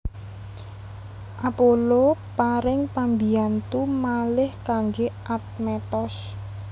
Apollo paring pambiyantu malih kanggé Admetos